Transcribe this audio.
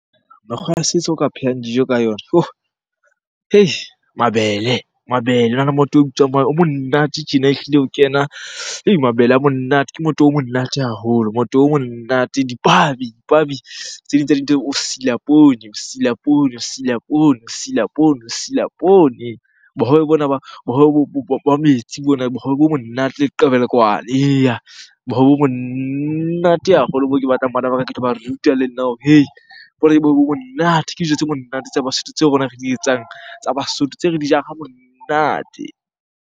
Mekgwa ya setso o ka phehang dijo ka yona yoh! mabele, mabele. Hona le motoho o bitswang o monate tjena ehlile ho kena, mabele a monate. Ke motoho o monate haholo, motoho o monate, dipabi, dipabi. Tse ding tsa dintho o sila poone, o sila poone, o sila poone, o sila poone, o sila poone. Bohobe bona ba, bohobe ba metsi mona, bohobe bo monate leqebelekwane. Eya, bohobe bo monate haholo bo ke batlang bana ba ka ke tloba ruta le nna hore hei! bohobe bo monate, ke dijo tse monate tsa Basotho tseo rona re di etsang tsa Basotho, tse re di jang ha monate.